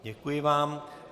Děkuji vám.